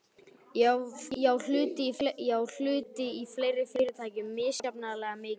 Ég á hluti í fleiri fyrirtækjum, misjafnlega mikið þó.